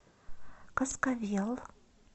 каскавел